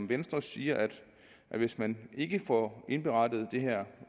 venstre siger at hvis man ikke får indberettet og det her